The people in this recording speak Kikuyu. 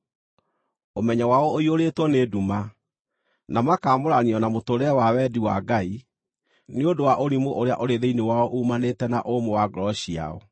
Ũmenyo wao ũiyũrĩtwo nĩ nduma, na makaamũranio na mũtũũrĩre wa wendi wa Ngai nĩ ũndũ wa ũrimũ ũrĩa ũrĩ thĩinĩ wao uumanĩte na ũmũ wa ngoro ciao.